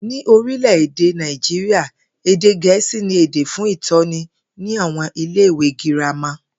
Ní orílè̩-èdè Nàìjíríà, èdè Gè̩é̩sì ni èdè fún ìtó̩ni ní àwo̩n ilé ìwé girama